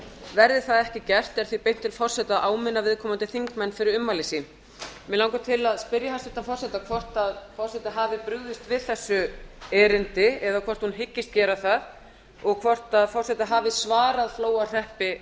verði það ekki gert er því beint til forseta að áminna viðkomandi þingmenn fyrir ummæli sín mig langar til að spyrja hæstvirtan forseta hvort forseti hafi brugðist við þessu erindi eða hvort hún hyggist gera það og hvort forseti hafi svarað flóahreppi